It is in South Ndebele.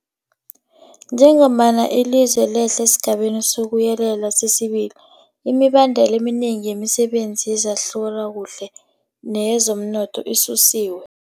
Njengombana ilizwe lehlela esiGabeni sokuYelela sesi-2, imibandela eminengi yemisebenzi yezehlalakuhle neyezomnotho isusiwe.